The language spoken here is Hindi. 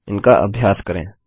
इनका अभ्यास करें